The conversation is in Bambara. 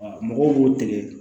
mɔgɔw b'u tigɛ